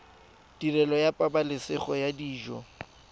tirelo ya pabalesego ya dijo